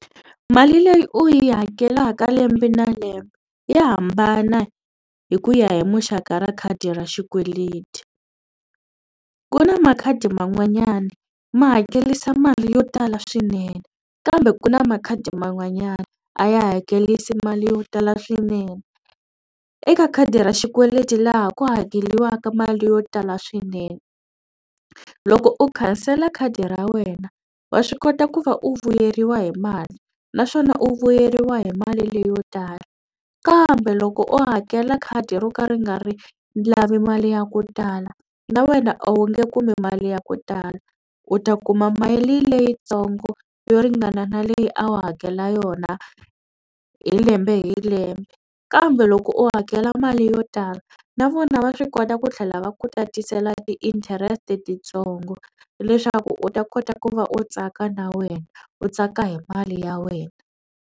Mali leyi u yi hakelaka lembe na lembe ya hambana hi ku ya hi muxaka ra khadi ra xikweleti. Ku na makhadi man'wanyana ma hakelisa mali yo tala swinene kambe ku na makhadi man'wanyana a ya hakerisa mali yo tala swinene. Eka khadi ra xikweleti laha ku hakeriwaka mali yo tala swinene loko u khansela khadi ra wena wa swi kota ku va u vuyeriwa hi mali naswona u vuyeriwa hi mali leyo tala kambe loko u hakela khadi ro ka ri nga ri lavi mali ya ku tala na wena a wu nge kumi mali ya ku tala u ta kuma mali leyitsongo yo ringana na leyi a wu hakela yona hi lembe hi lembe kambe loko u hakela mali yo tala na vona va swi kota ku tlhela va ku tatisela ti-interest titsongo leswaku u ta kota ku va u tsaka na wena u tsaka hi mali ya wena.